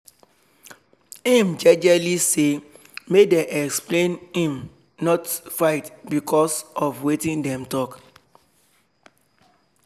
im jelely say make dem explain im not fight becos of wetin dem talk